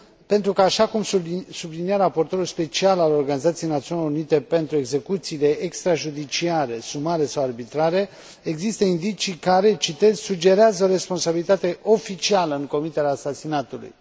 pentru că, așa cum sublinia raportorul special al Organizației Națiunilor Unite pentru execuțiile extrajudiciare, sumare sau arbitrare, există indicii care sugerează o responsabilitate oficială în comiterea asasinatului.